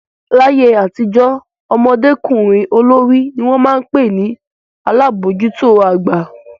Láyé àtijọ́, ọmọdékùnrin olórí ni wọ́n máa ń pè ní alabojuto àgbà.